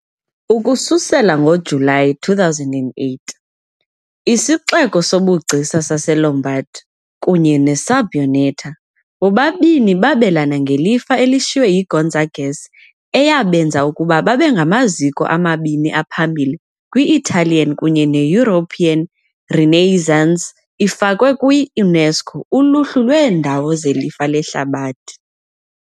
Ukususela ngoJulayi 2008, isixeko sobugcisa saseLombard, kunye neSabbioneta, bobabini babelana ngelifa elishiywe yiGonzagas eyabenza ukuba babe ngamaziko amabini aphambili kwi-Italian kunye ne-European Renaissance, ifakwe kwi-UNESCO uluhlu lweendawo zelifa lehlabathi.